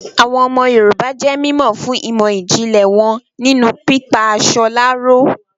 Àwọn ọmọ Yorùbá jé mímọ̀ fún ìmọ̀ ìjìnlẹ̀ wọn nínú pípa aṣọ láró